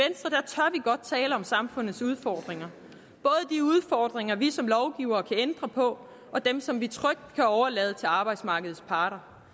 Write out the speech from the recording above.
godt tale om samfundets udfordringer vi som lovgivere kan ændre på og dem som vi trygt kan overlade til arbejdsmarkedets parter